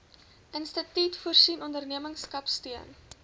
instituut voorsien ondernemerskapsteun